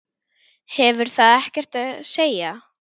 Hefur það ekkert að segja?